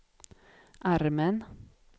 armen